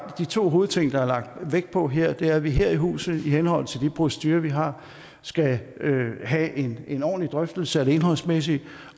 de to hovedting der er lagt vægt på her er at vi her i huset i henhold til de procedurer vi har skal have en en ordentlig drøftelse af det indholdsmæssige